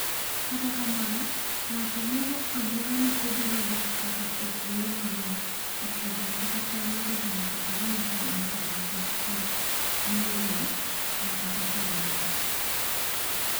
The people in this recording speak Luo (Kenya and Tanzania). Kata kamano ng'ato moro amora ma obiro dak kata ethuolo manok Afrika kata chalnade to nyaka orom kod ng'ato maket kod Meyler makata samoro.